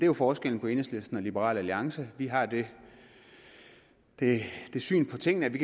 jo forskellen på enhedslisten og liberal alliance vi har det syn på tingene at vi